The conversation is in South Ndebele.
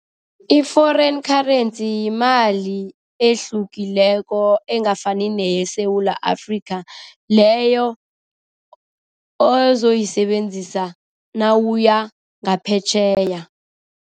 I-foreign currency yimali ehlukileko angafani neyeSewula Afrika, leyo ozoyisebenzisa nawuya ngaphetjheya.